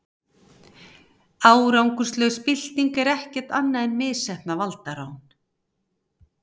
árangurslaus bylting er ekkert annað en misheppnað valdarán